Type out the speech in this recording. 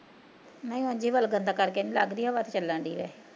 ਨਈਂ ਉਂਝ ਕਰਕੇ ਨੀ ਲੱਗਦੀ, ਹਵਾ ਤੇ ਚੱਲਣ ਡੀ ਏ